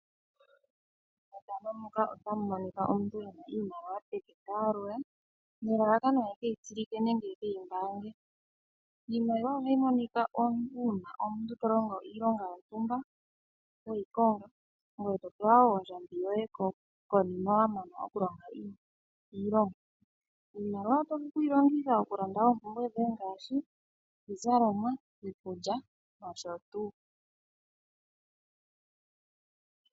Mefano muka ota mu monika omuntu ena iimaliwa peke ta yalula nelalakano ekeyi tsilike nenge eke yi mbaange. Iimaliwa ohayi monika omuntu una omuntu to longo iilonga yontumba weyi konga. Ngoye to pewa wo ondjambi yoye konima wa mana oku longa iilonga. Iimaliwa oto vulu oku yi longitha oku landa ompumpwe dhoye ngaashi iizalomwa, iikulya noshotuu.